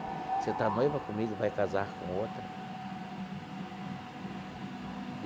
Você está noivo comigo, vai casar com outra?